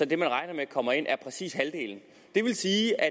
det man regner med kommer ind præcis halvdelen det vil sige at